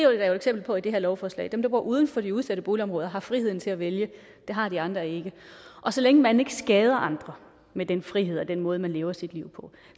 jo et eksempel på i det her lovforslag dem der bor uden for de udsatte boligområder har friheden til at vælge det har de andre ikke og så længe man ikke skader andre med den frihed og den måde man lever sit liv på